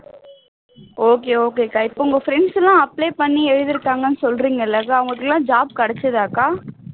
okay okay க்கா இப்போ உங்க friends எல்லாம் apply பண்ணி எழுதிருக்காங்கன்னு சொல்றீங்க இல்லக்கா அவங்களுக்கெல்லாம் job கிடைச்சுதாக்கா